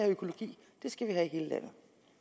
økologi det skal vi have i hele landet